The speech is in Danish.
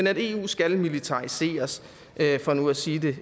at eu skal militariseres for nu at sige det